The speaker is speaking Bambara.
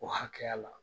O hakɛya la